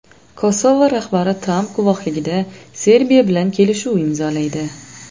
Kosovo rahbari Tramp guvohligida Serbiya bilan kelishuv imzolaydi.